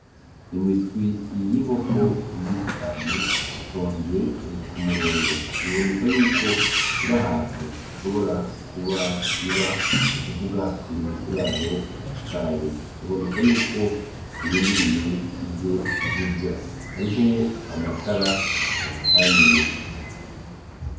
Imiswi y'inkoko myinshi cane itonze ee kumurongo, biboneka yuko iri ahantu ishobora kuba iba n'ukuvuga iri mu kiraro cayo biboneka yuko irindiriye ivyo zirya hariho amatara azicaniye.